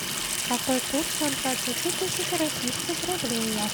какой курс у двадцати тысяч российских рублей